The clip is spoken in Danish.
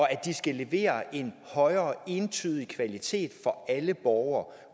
at de skal levere en højere entydig kvalitet for alle borgere